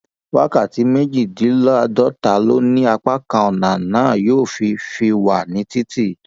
wákàtí méjìdínláàádọta ló ní apá kan ọnà náà yóò fi fi wà ní títì